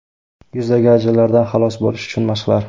Yuzdagi ajinlardan xalos bo‘lish uchun mashqlar.